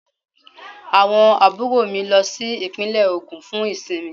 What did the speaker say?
Àwọn àbúrò mi lọ sí Ìpínlẹ̀ Ògùn fún ìsinmi